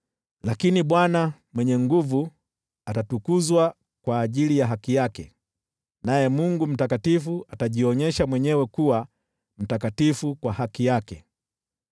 Lakini Bwana Mwenye Nguvu Zote atatukuzwa kwa ajili ya haki yake, naye Mungu Mtakatifu atajionyesha mwenyewe kuwa mtakatifu kwa haki yake.